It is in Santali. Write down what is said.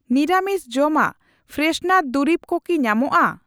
ᱱᱤᱨᱟᱢᱤᱥ ᱡᱚᱢᱟᱜ, ᱯᱨᱮᱥᱱᱟᱨ ᱫᱩᱨᱤᱵ ᱠᱚ ᱠᱤ ᱧᱟᱢᱚᱜᱼᱟ ?